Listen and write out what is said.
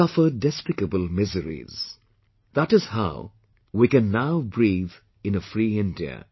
They suffered despicable miseries and that is how we can now breathe in a free India